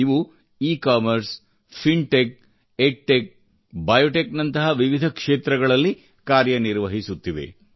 ಇವು ecommerce fintech edtech biotech ನಂತಹ ವಿವಿಧ ಕ್ಷೇತ್ರಗಳಲ್ಲಿ ಕಾರ್ಯನಿರ್ವಹಿಸುತ್ತಿವೆ